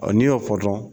n'i y'o fɔ dɔrɔn